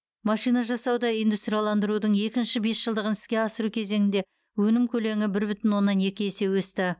машинажасауда индустрияландырудың екінші бесжылдығын іске асыру кезеңінде өнім көлемі бір бүтін оннан екі есе өсті